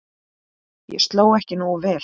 Ég sló ekki nógu vel.